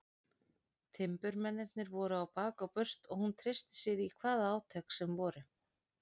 Timburmennirnir voru á bak og burt og hún treysti sér í hvaða átök sem voru.